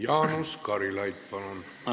Jaanus Karilaid, palun!